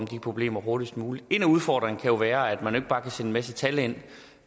problemer hurtigst muligt en af udfordringerne være at man ikke bare kan sende en masse tal ind